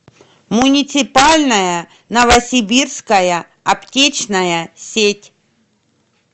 муниципальная новосибирская аптечная сеть